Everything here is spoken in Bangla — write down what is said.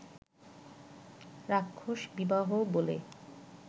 রাক্ষস বিবাহ বলে